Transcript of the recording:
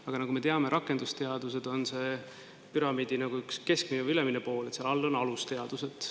Aga nagu me teame, rakendusteadused on püramiidi keskmine või ülemine pool, kõige all on alusteadused.